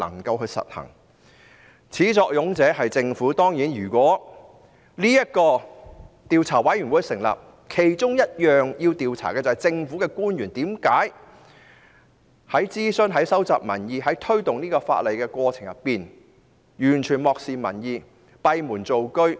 事情的始作俑者當然是政府，因此如果成立專責委員會，其中要調查的便是為何在諮詢、收集民意及推動修例的過程中，政府官員完全漠視民意、閉門造車。